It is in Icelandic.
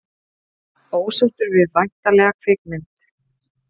Ósáttur við væntanlega kvikmynd